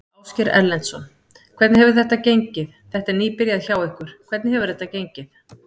Ásgeir Erlendsson: Hvernig hefur þetta gengið, þetta er nýbyrjað hjá ykkur, hvernig hefur þetta gengið?